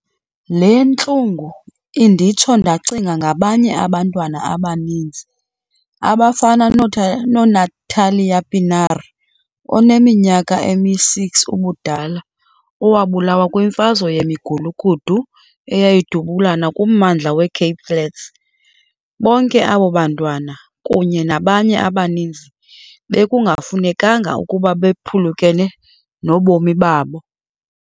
Le ntlungu inditsho ndacinga ngabanye abantwana abaninzi, abafana noNathlia Pienaar oneminyaka emi-6 ubudala, owabulawa kwimfazwe yemigulukudu eyayidubulana kummandla we-Cape Flats. Bonke abo bantwana, kunye nabanye abaninzi, bekungafunekanga ukuba baphulukene nobomi babo.